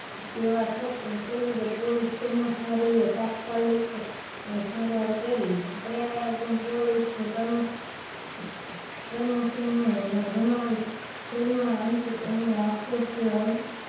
સેવા ઠપ સૌ પોલીસ કર્મચારી એ તાત્કાલીન સારવાર કરી પ્રયાગ પોલીસ કર્મસ કર્મસ ને અંતિક અશરફ